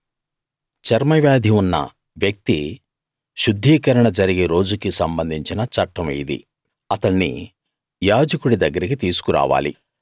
చర్మవ్యాధి ఉన్న వ్యక్తి శుద్ధీకరణ జరిగే రోజుకి సంబంధించిన చట్టం ఇది అతణ్ణి యాజకుడి దగ్గరికి తీసుకురావాలి